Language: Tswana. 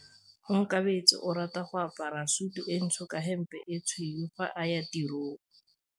Onkabetse o rata go apara sutu e ntsho ka hempe e tshweu fa a ya tirong.